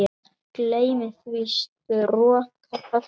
Gleymi því, stroka það burt.